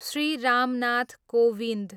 Shri Ram Nath Kovind